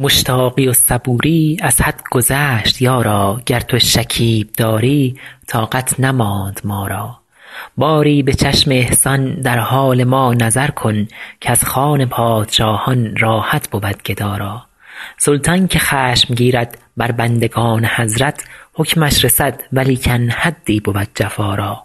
مشتاقی و صبوری از حد گذشت یارا گر تو شکیب داری طاقت نماند ما را باری به چشم احسان در حال ما نظر کن کز خوان پادشاهان راحت بود گدا را سلطان که خشم گیرد بر بندگان حضرت حکمش رسد ولیکن حدی بود جفا را